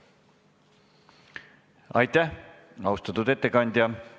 Aitäh, austatud ettekandja!